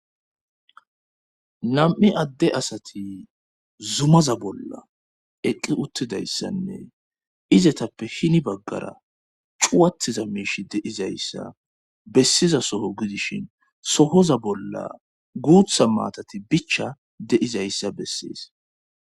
Nam7i adde asati zumaza bolla eqqi uttidayssanne izetappe hini baggara cuwatiza miishi deizayssa bessiza soho gidishin sohoza bolla guutha maatati bicha deizayssa bessees